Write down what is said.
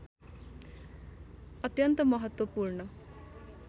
अत्यन्त महत्त्वपूर्ण